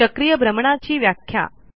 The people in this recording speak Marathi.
चक्रीय भ्रमणाची व्याख्या